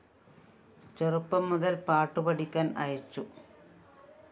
ചെറുപ്പം മുതല്‍ പാട്ടു പഠിക്കാന്‍ അയച്ചു